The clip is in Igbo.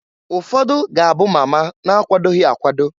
Ụfọdụ ga-abụ mama na-akwadoghi akwado.